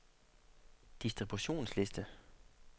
distributionsliste